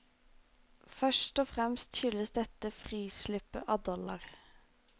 Først og fremst skyldes dette frislippet av dollar.